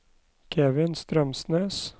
Kevin Strømsnes